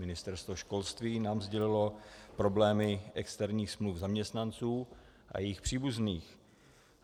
Ministerstvo školství nám sdělilo problémy externích smluv zaměstnanců a jejich příbuzných.